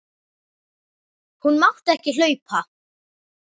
Hún mátti ekki hlaupa.